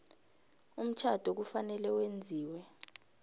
umtjhado kufanele wenziwe